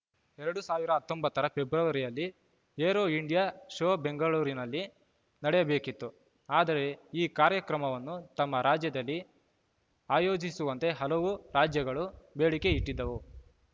ಎರಡ್ ಸಾವಿರದ ಹತ್ತೊಂಬತ್ತ ರ ಫೆಬ್ರುವರಿಯಲ್ಲಿ ಏರೋ ಇಂಡಿಯಾ ಶೋ ಬೆಂಗಳೂರಿನಲ್ಲಿ ನಡೆಯಬೇಕಿತ್ತು ಆದರೆ ಈ ಕಾರ್ಯಕ್ರಮವನ್ನು ತಮ್ಮ ರಾಜ್ಯದಲ್ಲಿ ಆಯೋಜಿಸುವಂತೆ ಹಲವು ರಾಜ್ಯಗಳು ಬೇಡಿಕೆ ಇಟ್ಟಿದ್ದವು